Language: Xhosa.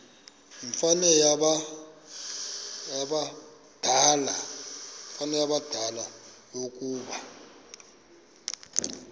yimianelo yabadala yokaba